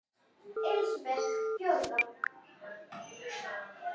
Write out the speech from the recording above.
Elísabet: Fjórða?